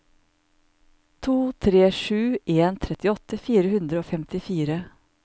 to tre sju en trettiåtte fire hundre og femtifire